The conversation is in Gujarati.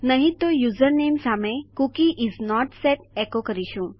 નહિં તો યુઝર સામે કૂકી ઇસ નોટ સેટ એકો કરીશું